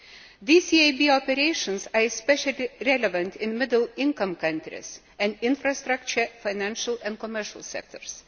These EIB operations are especially relevant in middle income countries and infrastructure, financial and commercial sectors.